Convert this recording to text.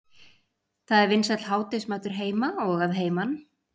Það er vinsæll hádegismatur heima og að heiman.